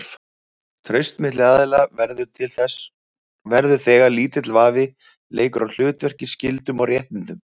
Traust milli aðila verður til þegar lítill vafi leikur á hlutverki, skyldum og réttindum.